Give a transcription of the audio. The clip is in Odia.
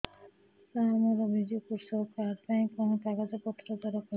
ସାର ମୋର ବିଜୁ କୃଷକ କାର୍ଡ ପାଇଁ କଣ କାଗଜ ପତ୍ର ଦରକାର